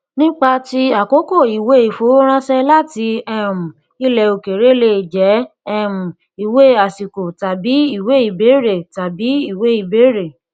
nípa ti àkókò ìwé ìfowóránṣẹ láti um ilẹ òkèèrè lè jẹ um ìwé àsìkò tàbí ìwé ibéèrè tàbí ìwé ibéèrè